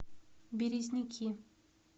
березники